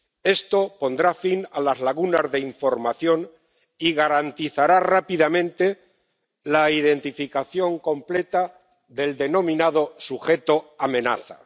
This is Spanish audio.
Esto pondrá fin a las lagunas de información y garantizará rápidamente la identificación completa del denominado sujeto amenaza.